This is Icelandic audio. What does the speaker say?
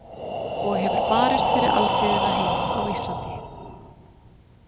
Og hefur barist fyrir alþýðuna heima á Íslandi.